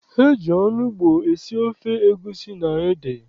E ji onugbu esi ofe egusi na ede.